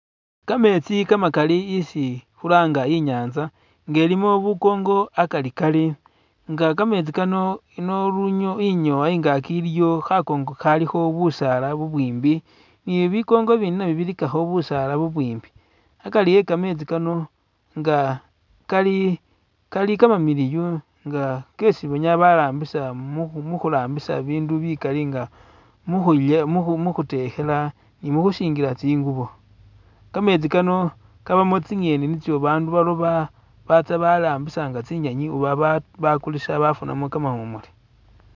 Kameetsi kamakali isi khulanga inyanza nga ilimo bukongo akari kari nga kameetsi Kano ino lunyo inyowa ingaki iliyo khakongo khalikho busaala bubwimbi, ni bikongo i'bindi nabyo bilikakho busaala bubwimbi. Akari e'kametsi Kano nga kali-kali kamamiliyu nga kesi banyala barambisa mu mukhurambisa ibindu bikaali nga mukhuye mukhu mukhutekhela nikhusingila tsingubo. Kametsi Kano kabamo tsi'ngeni nitso bandu baloba batsa barambisa nga tsinyenyi oba batsya baakulisa bafunamo kamawumule.